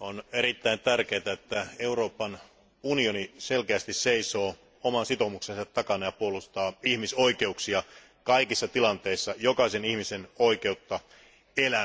on erittäin tärkeätä, että Euroopan unioni selkeästi seisoo oman sitoumuksensa takana ja puolustaa ihmisoikeuksia kaikissa tilanteissa ja jokaisen ihmisen oikeutta elämään.